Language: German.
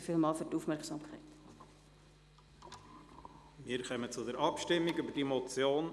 Wir kommen zur punktweisen Abstimmung über diese Motion.